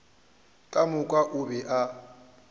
ka moka o be a